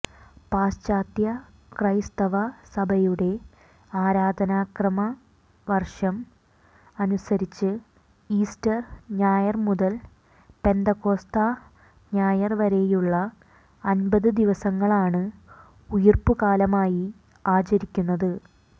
പാശ്ചാത്യ ക്രൈസ്തവ സഭയുടെ ആരാധനക്രമവർഷം അനുസരിച്ച് ഈസ്റ്റർ ഞായർ മുതൽ പെന്തക്കോസ്താ ഞായർ വരെയുള്ള അൻപത് ദിവസങ്ങളാണ് ഉയിർപ്പുകാലമായി ആചരിക്കുന്നത്